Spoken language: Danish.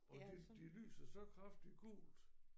Og de de lyser så kraftigt gult